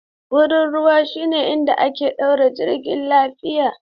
Wurin ruwa shine inda aka ɗaure jirgi lafiya.